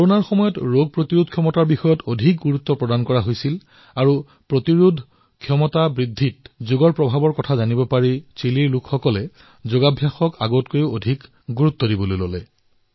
কৰোনাৰ এই সময়ছোৱাত ৰোগ প্ৰতিৰোধৰ ওপৰত গুৰুত্ব আৰু ৰোগ প্ৰতিৰোধ ক্ষমতা বৃদ্ধি কৰাত যোগৰ শক্তি প্ৰত্যক্ষ কৰি এতিয়া তেওঁলোকে যোগাভ্যাস পূৰ্বতকৈও বৃদ্ধি কৰাত গুৰুত্ব প্ৰদান কৰিছে